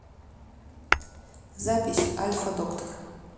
запись альфа доктор